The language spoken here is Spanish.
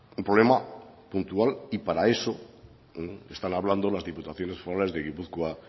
un problema puntual y para eso están hablando las diputaciones forales de gipuzkoa